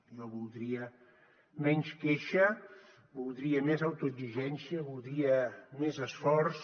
jo voldria menys queixa voldria més autoexigència voldria més esforç